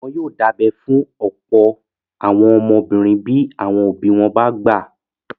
Wọ́n yóò dábẹ́ fún ọ̀pọ̀ àwọn ọmọbìnrin bí àwọn òbí wọn bá gbà